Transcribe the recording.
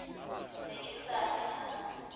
ne ke sa re ha